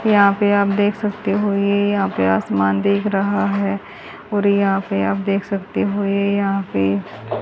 यहा पे आप देख सकते हो ये यहा पे आसमान दिख रहा है और यहा पे आप देख सकते हो ये यहा पे --